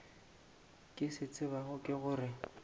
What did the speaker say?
ke se tsebago ke gore